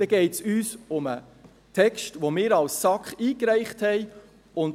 Dann geht es uns um den Text, den wir als SAK eingereicht haben.